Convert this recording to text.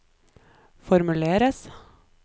formuleres